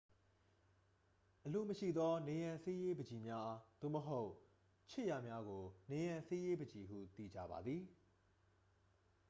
အလိုမရှိသော နံရံဆေးရေးပန်ချီများ သို့မဟုတ် ခြစ်ရာများကို နံရံဆေးရေးပန်ချီဟု သိကြပါသည်